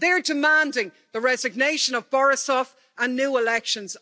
They're demanding the resignation of Borisov and new elections.